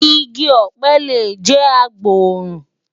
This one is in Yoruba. Igi ọ̀pẹ lè jẹ́ agbòòrùn.